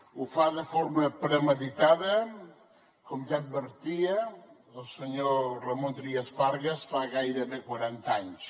ho fa de forma premeditada com ja advertia el senyor trias fargas fa gairebé quaranta anys